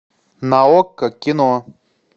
на окко кино